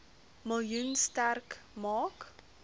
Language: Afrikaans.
miljoen sterk maak